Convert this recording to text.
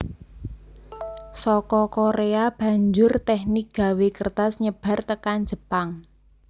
Saka Korea banjur teknik gawé kertas nyebar tekan Jepang